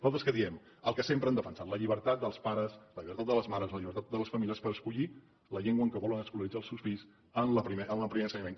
nosaltres què diem el que sempre hem defensat la llibertat dels pares la llibertat de les mares la llibertat de les famílies per escollir la llengua en què volen escolaritzar els seus fills en el primer ensenyament